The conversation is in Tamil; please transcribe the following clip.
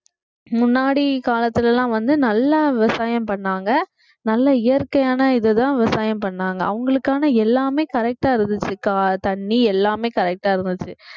முன்னாடி காலத்துல எல்லாம் வந்து நல்லா விவசாயம் பண்ணாங்க நல்ல இயற்கையான இதுதான் விவசாயம் பண்ணாங்க அவங்களுக்கான எல்லாமே correct ஆ இருந்துச்சு தண்ணி எல்லாமே correct ஆ இருந்துச்சு